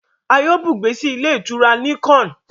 a yíò bùgbé sí Ilé-ìtura Nicon.